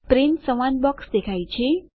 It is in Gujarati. પ્રિન્ટ સંવાદ બોક્સ દેખાય છે